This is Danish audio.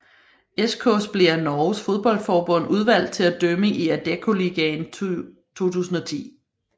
Eskås blev af Norges fodboldforbund udvalgt til at dømme i Adeccoligaen 2010